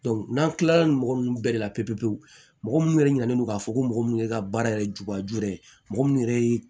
n'an kilala ni mɔgɔ minnu bɛɛ de la pewu pewu pewu mɔgɔ minnu yɛrɛ ɲinalen don k'a fɔ ko mɔgɔ minnu ye ka baara yɛrɛ jubaju yɛrɛ mɔgɔ minnu yɛrɛ ye